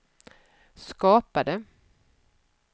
skapade